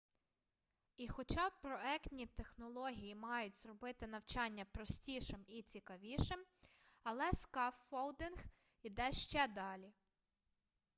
і хоча проектні технології мають зробити навчання простішим і цікавішим але скаффолдинг іде ще далі